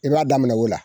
I b'a daminɛ o la